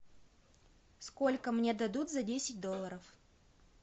сколько мне дадут за десять долларов